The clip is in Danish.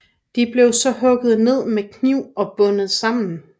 De blev så hugget ned med kniv og bundtet sammen